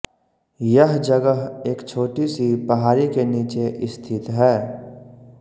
यह जगह एक छोटी सी पहाड़ी के नीचे स्थित है